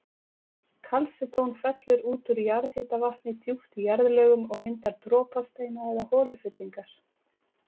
Kalsedón fellur út úr jarðhitavatni djúpt í jarðlögum og myndar dropasteina eða holufyllingar.